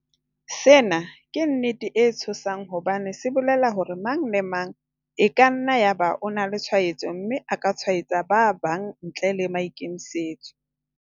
Sena ke nnete e tshosang hobane se bolela hore mang le mang e ka nna ya ba o na le tshwaetso mme a ka tshwaetsa ba bang ntle le maikemisetso.